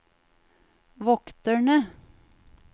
vokterne